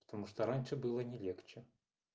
потому что раньше было не легче